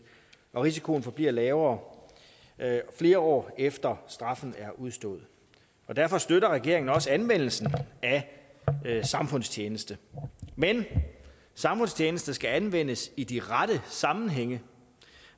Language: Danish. og risikoen forbliver lavere flere år efter at straffen er udstået derfor støtter regeringen også anvendelsen af samfundstjeneste men samfundstjeneste skal anvendes i de rette sammenhænge